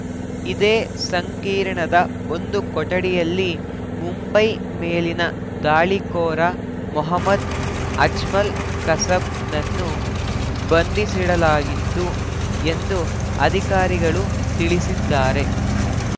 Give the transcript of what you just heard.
ಇದೇ ಸಂಕೀರ್ಣದ ಒಂದು ಕೊಠಡಿಯಲ್ಲಿ ಮುಂಬೈ ಮೇಲಿನ ದಾಳಿಕೋರ ಮೊಹಮ್ಮದ್‌ ಅಜ್ಮಲ್‌ ಕಸಬ್‌ನನ್ನು ಬಂಧಿಸಿಡಲಾಗಿತ್ತು ಎಂದು ಅಧಿಕಾರಿಗಳು ತಿಳಿಸಿದ್ದಾರೆ